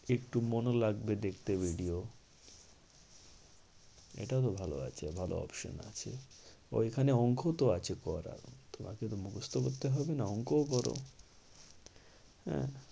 একটু মনও লাগবে দেখতে video এটাও তো ভালো আছে। ভালো option আছে। ওইখানে অঙ্ক তো আছে পড়ার তোমাকে তো মুকস্ত করতে হবে হবে না। অঙ্ক ধরো আঁ